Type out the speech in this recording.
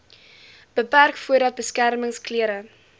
beperk voordat beskermingsklere